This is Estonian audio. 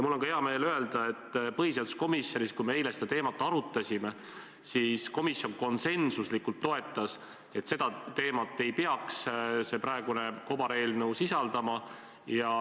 Mul on ka hea meel öelda, et põhiseaduskomisjonis, kui me eile seda teemat arutasime, komisjon konsensuslikult toetas, et seda teemat ei peaks see praegune kobareelnõu sisaldama.